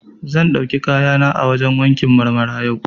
Zan ɗauki kayana a wajen wankin Marmara yau.